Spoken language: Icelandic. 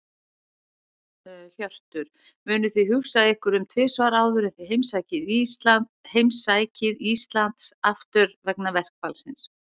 Hjörtur: Munuð þið hugsa ykkur um tvisvar áður en þið heimsækið Íslands aftur, vegna verkfallsins?